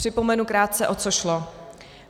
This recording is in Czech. Připomenu krátce, o co šlo.